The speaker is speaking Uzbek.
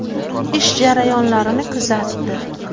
Ish jarayonlarini kuzatdi.